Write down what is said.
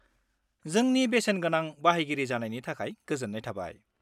-जोंनि बेसेनगोना बाहायगिरि जानायनि थाखाय गोजोन्नाय थाबाय।